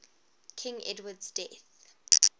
king edward's death